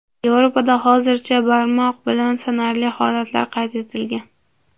Yevropada hozircha barmoq bilan sanarli holatlar qayd etilgan.